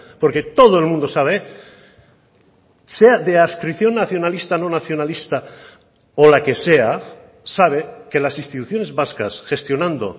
porque todo el mundo sabe sea de adscripción nacionalista no nacionalista o la que sea sabe que las instituciones vascas gestionando